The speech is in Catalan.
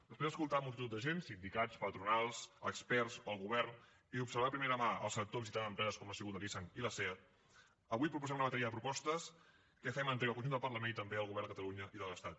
després d’escoltar multitud de gent sindicats patronals experts el govern i observar de primera mà el sector visitant empreses com han sigut la nissan i la seat avui proposem una bateria de propostes de què fem entrega al conjunt del parlament i també al govern de catalunya i de l’estat